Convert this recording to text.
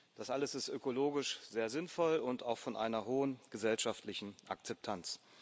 Das alles ist ökologisch sehr sinnvoll und auch von einer hohen gesellschaftlichen Akzeptanz.